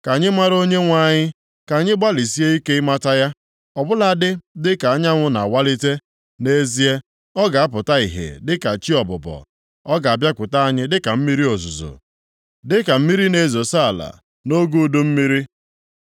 Ka anyị mara Onyenwe anyị; ka anyị gbalịsie ike ịmata ya. Ọ bụladị dịka anyanwụ na-awalite, nʼezie, ọ ga-apụta ìhè dịka chi ọbụbọ, ọ ga-abịakwute anyị dịka mmiri ozuzo, dịka mmiri na-ezosa ala nʼoge udu mmiri.”